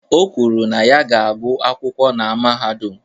O kwuru na ya ga-agụ akwụkwọ na mahadum.